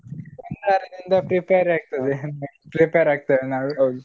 ಒಂದುವಾರದಿಂದ prepare ಆಗ್ತದೆ prepare ಆಗ್ತೇವೆ ನಾವು .